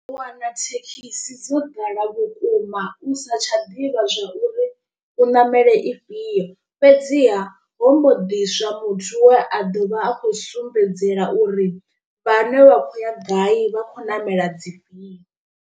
U wana thekhisi dzo ḓala vhukuma u sa tsha ḓivha zwauri u ṋamele ifhio. Fhedziha ho mbo ḓiswa muthu we a ḓovha a khou sumbedzela uri vhane vha khou ya gai vha khou namela dzifhio.